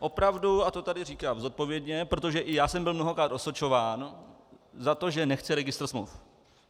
Opravdu, a to tady říkám zodpovědně, protože i já jsem byl mnohokrát osočován za to, že nechci registr smluv.